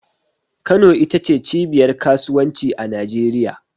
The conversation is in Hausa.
Kano ita ce cibiyar kasuwanci a Najeriya.